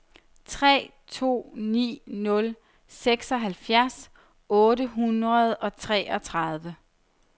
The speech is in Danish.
tre to ni nul seksoghalvfjerds otte hundrede og treogtredive